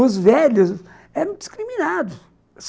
Os velhos eram discriminados.